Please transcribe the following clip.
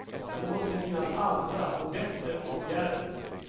Det måste finns andra och bättre åtgärder.